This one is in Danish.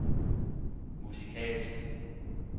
musikalsk